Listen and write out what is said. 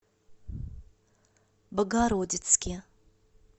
богородицке